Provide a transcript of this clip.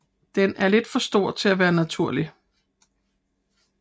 Den er lidt for stor til at være naturlig